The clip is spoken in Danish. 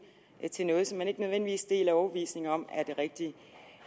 til noget som man ikke nødvendigvis deler overbevisning om er det rigtige